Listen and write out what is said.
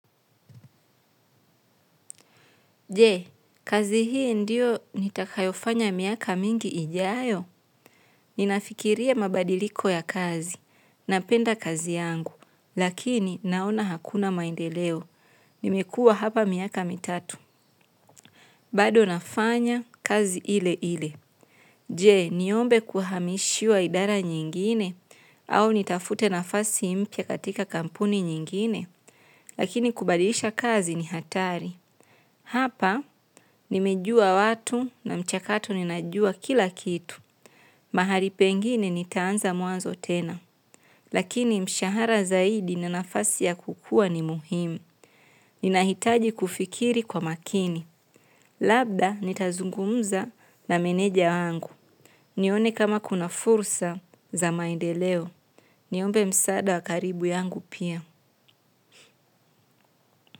Je, kazi hii ndiyo nitakayofanya miaka mingi ijayo? Ninafikiria mabadiliko ya kazi napenda kazi yangu lakini naona hakuna maendeleo. Nimekua hapa miaka mitatu, bado nafanya kazi ile ile. Je niombe kuhamishiwa idara nyingine ama nitafute nafasi mpya katika kampuni nyingine lakini kubadilisha kazi ni hatari hapa nimejua watu na mchakato ninajua kila kitu. Mahari pengine nitaanza muanzo tena. Lakini mshahara zaidi ninafasi ya kukua ni muhimu. Ninahitaji kufikiri kwa makini. Labda nitazungumuza na meneja wangu. Nione kama kuna fursa za maendeleo. Niombe msada wakaribu yangu pia.